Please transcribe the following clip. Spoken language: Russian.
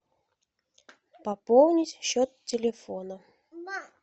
пополнить счет телефона